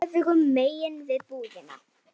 Öfugu megin við búðina.